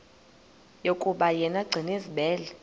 yokuba yena gcinizibele